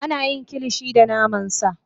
Ana yin Kilishi da naman sa